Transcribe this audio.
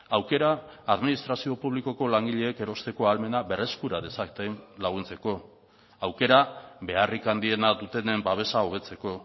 aukera administrazio publikoko langileek erosteko ahalmena berreskura dezaten laguntzeko aukera beharrik handiena dutenen babesa hobetzeko